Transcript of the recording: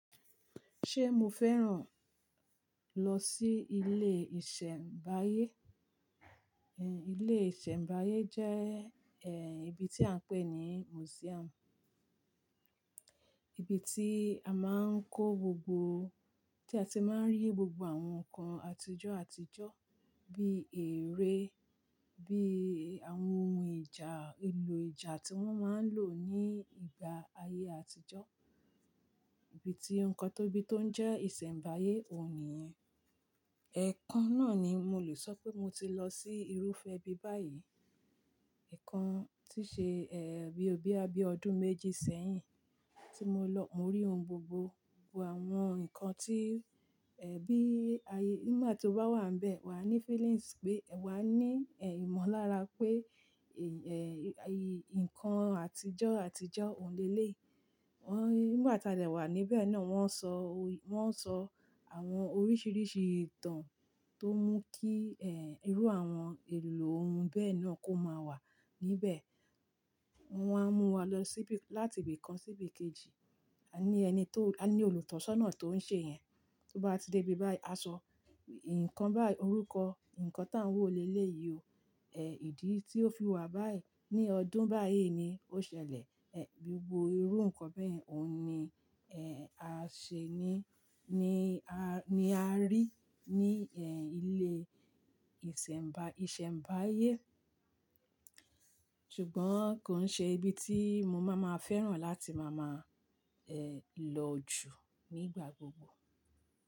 Ṣé mo fẹ́ràn lọ sí ilé ìṣẹ̀mbáyé? Ehn, ilé ìṣẹ̀mbáyé jẹ́ ehn ibi tí à ń pè ní museum. Ibi tí a máa ń kó gbogbo, tí a ti máa ń rí gbogbo àwọn nǹkan àtijọ́, àtijọ́ bí eré, bí àwọn ohun ìjà, ohun èlò ìjà tí wọ́n máa ń lò ní ìgbà ayé àtijọ́. Ibi tí nǹkan tóbi tó ń jẹ́ ìṣẹ̀mbáyé òní yẹn. Ẹ̀ẹ̀kan náà ni mo lè sọ pé mo ti lọ sí irúfẹ́ bí báyìí. Ẹ̀ẹ̀kan tí ṣe ehn bí ó bí ẹ bí ọdún méjì sẹ́yìn tí mo lọ. Mo rí ohun gbogbo, gbogbo àwọn nǹkan tí ẹbí ayé, nígbà tí o bá wà níbẹ̀, wà á ní feelings pé, wà á ní ehn ìmọ̀lára pé èy-- ehn ìy-- nǹkan àtijọ́, àtijọ́ òní lé léyi. Wọ́n, nígbà tí a dà wà níbẹ̀ náà, wọ́n ń sọ oy-- wọ́n ń sọ àwọn oríṣiríṣi ìtàn tó ń mú kí ehn irú àwọn èlò ohun bẹ́ẹ̀ náà kó máa wà níbẹ̀. Wọ́n á mú wa lọ síbi láti ibi kan sí ibi kejì. A ní ẹni tó, a ní olùtọ́sọ́nà tó ń ṣe yẹn. Tó bá ti dé ibi báyìí, a sọ "ǹkan báyìí, orúkọ ǹkan tá ń wò lé lé yìí o. Ehn ìdí tí ó fi wà báyìí, ní ọdún báyìí ni ó ṣẹlẹ̀." Ehn gbogbo irú nǹkan bẹ́ẹ̀ òní ehn a ṣe ní, ní a, ní a rí ní ehn ilé ìṣẹ̀mbà, ìṣẹ̀mbáyé. Ṣùgbọ́n kò ń ṣe ibi tí mo máa ma fẹ́ràn láti máa ma ehn lọ jù nígbà gbogbo.